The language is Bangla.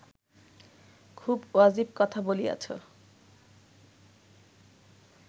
খুব ওয়াজিব কথা বলিয়াছ